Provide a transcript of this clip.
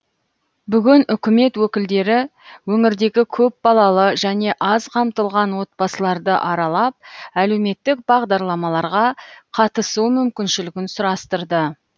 бүгін үкімет өкілдері өңірдегі көпбалалы және аз қамтылған отбасыларды аралап әлеуметтік бағдарламаларға қатысу мүмкіншілігін сұрастырды